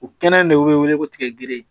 O kɛnɛ in de bɛ wele ko tigɛgere